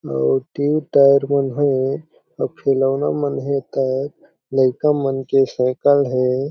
अउ tube tyre मन हे अउ खिलौना मन हे अउ लेका मन के साइकिल हे।